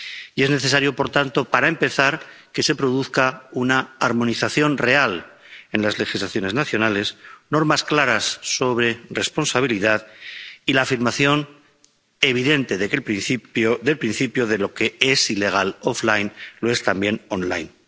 Y es necesario, por tanto, para empezar, que se produzca una armonización real en las legislaciones nacionales, normas claras sobre responsabilidad y la afirmación evidente del principio de que lo que es ilegal fuera de línea, lo es también en línea.